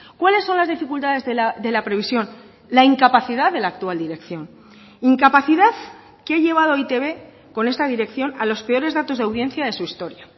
cuáles son las dificultades de la previsión la incapacidad de la actual dirección incapacidad que ha llevado a e i te be con esta dirección a los peores datos de audiencia de su historia